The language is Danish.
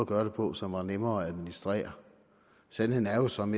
gøre det på som var nemmere at administrere sandheden er jo som